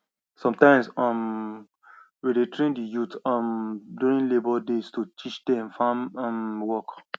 sometimes um we dey train di youth um during labour days to teach dem farm um work